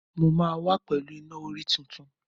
Mo máa wá pẹ̀lú Iná-orí tuntun.